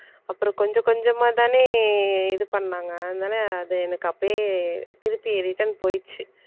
அப்புறம் கொஞ்சம் கொஞ்சமா தானே இது பண்ணாங்க அதனால அது எனக்கு அப்படியே திருப்பி return போயிடுச்சு